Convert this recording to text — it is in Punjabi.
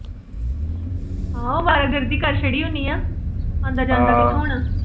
ਆਹੋ ਅਵਾਰਾਗਰਦੀ ਕਰ ਛੱਡੀ ਹੋਣੀ ਆ, ਆਂਦਾ ਜਾਂਦਾ ਕਿਥੋਂ ਹੋਣਾ।